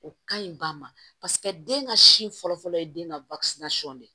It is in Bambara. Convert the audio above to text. O ka ɲi ba ma paseke den ka sin fɔlɔ ye den ka de ye